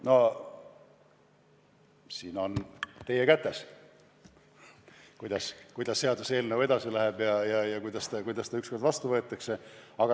No see on teie kätes, kuidas seaduseelnõu edasi läheb ja millal see ükskord vastu võetakse.